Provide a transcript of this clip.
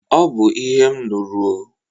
Ọ bụ ihe m nụrụ o.